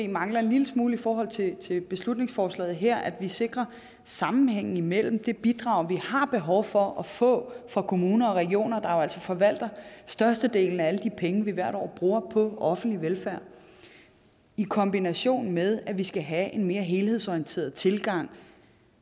mangler en lille smule i forhold til til beslutningsforslaget her nemlig at vi sikrer sammenhængen imellem det bidrag vi har behov for at få fra kommuner og regioner der jo altså forvalter størstedelen af alle de penge vi hvert år bruger på offentlig velfærd i kombination med at vi skal have en mere helhedsorienteret tilgang